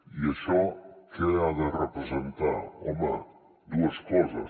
i això què ha de representar home dues coses